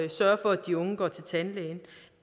sørge for at de unge går til tandlæge